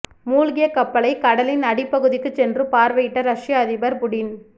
மூழ்கிய கப்பலை கடலின் அடிப்பகுதிக்கு சென்று பார்வையிட்ட ரஷ்ய அதிபர் புடின்